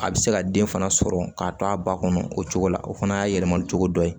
A bɛ se ka den fana sɔrɔ k'a to a ba kɔnɔ o cogo la o fana y'a yɛlɛma cogo dɔ ye